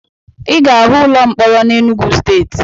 Ị ga-ahụ ụlọ mkpọrọ na Enugwu Steeti